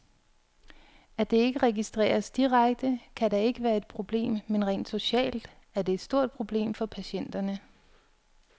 At det ikke registreres direkte, kan da ikke være et problem, men rent socialt er det et stort problem for patienterne.